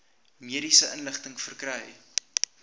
mediese inligting verkry